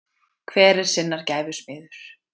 hver er sinnar gæfu smiður